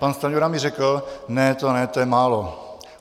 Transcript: Pan Stanjura mi řekl ne, to ne, to je málo.